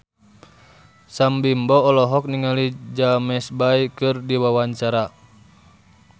Sam Bimbo olohok ningali James Bay keur diwawancara